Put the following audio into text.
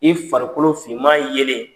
I farikolo finman yelen